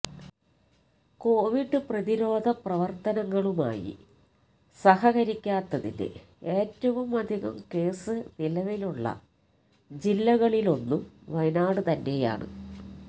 Covid പ്രതിരോധ പ്രവര്ത്തനങ്ങളുമായി സഹകരിക്കാത്തതിന് ഏറ്റവും അധികം കേസ് നിലവിലുള്ള ജില്ലകളിലൊന്നും വയനാട് തന്നെയാണ്